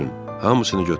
Hamısını götürün.